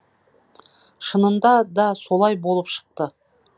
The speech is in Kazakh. шынында да солай болып шықты